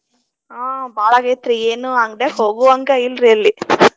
ಆಹ್ ಬಾಳ ಆಗೇತ್ರಿ ಏನು ಅಂಗಡ್ಯಾಗ ಹೋಗುವಂಗ ಇಲ್ರಿ ಅಲ್ಲಿ .